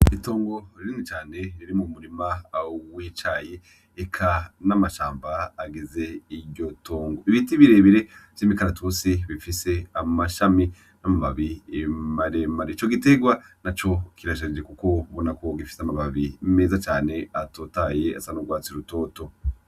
Itongo rinini cane ririmwo umurima w'icayi eka n'amashamba agize iryo tongo, ibiti birebire vy'imikaratusi bifise amashami n'amababi maremare, ico giterwa naco kirashajije kuko ubona ko gifise amababi meza cane atotahaye asa n'urwatsi rutoto.